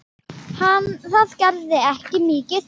Það gerði ekki mikið til.